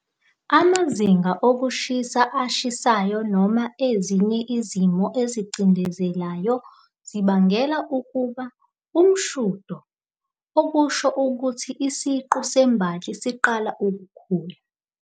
Amazinga okushisa ashisayo noma ezinye izimo ezicindezelayo zibangela ukuba " umshudo ", okusho ukuthi isiqu sembali siqala ukukhula.